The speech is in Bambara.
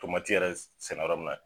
yɛrɛ sɛnɛ yɔrɔ min na.